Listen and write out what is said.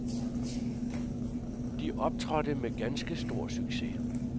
De optrådte med ganske stor succes.